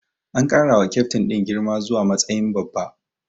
An ƙara wa kyaftin din girma zuwa matsayin babba.